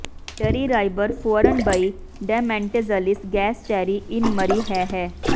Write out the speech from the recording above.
ਡਰੀ ਰਾਈਬਰ ਫੂਅਰਨ ਬੇਈ ਡੈਮੈਂਟੇਜ਼ਲਿਸ ਗੈਸਚੈਰੀ ਇਨ ਮਰੀ ਹੈਹੇ